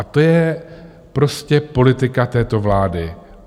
A to je prostě politika této vlády.